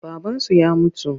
Babansu ya mutu.